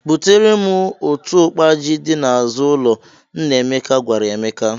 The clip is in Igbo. Butere m otu ukpa ji dị n'azụ ụlọ, " nna Emeka gwara Emeka.